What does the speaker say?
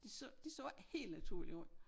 Det så det så ikke helt naturligt ud